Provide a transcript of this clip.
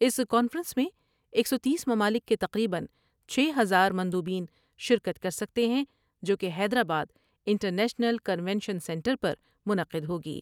اس conference میں ایک سو تیس ممالک کے تقریبا چھ ہزار مند و بین شرکت کر سکتے ہیں جو کہ حیدرآبادانٹرنیشنل کنونشن سنٹر پر منعقد ہوگی ۔